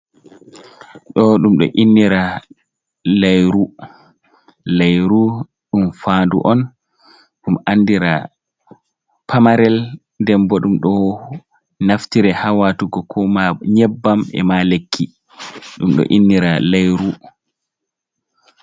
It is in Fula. Ɗo ɗum ɗo innira layru ,layru ɗum faandu on, ɗum anndira pamarel .Nden bo ɗum ɗo naftire haa waatugo ko ma nyebbam ,e ma lekki ,ɗum ɗo innira layru.